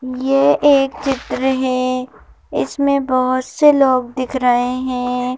यह एक चित्र है इसमें बहुत से लोग दिख रहे हैं।